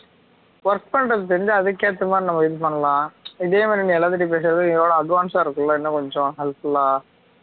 work பண்றது தெரிஞ்சா அதுக்கு ஏற்ற மாதிரி நம்ம இது பண்ணலாம் இதேமாதிரி நீ எல்லாத்துட்டையும் பேசுறது இத விட advance ஆ இருக்குல இன்னும் கொஞ்சம் அது full ஆ